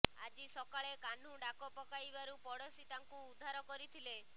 ଆଜି ସକାଳେ କାହ୍ନୁ ଡାକ ପକାଇବାରୁ ପଡ଼ୋଶୀ ତାଙ୍କୁ ଉଦ୍ଧାର କରିଥିଲେ